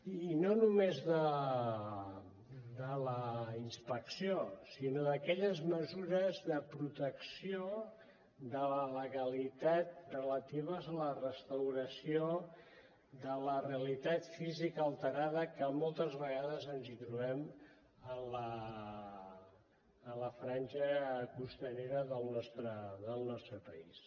i no només de la inspecció sinó d’aquelles mesures de protecció de la legalitat relatives a la restauració de la realitat física alterada que moltes vegades ens hi trobem en la franja costanera del nostre país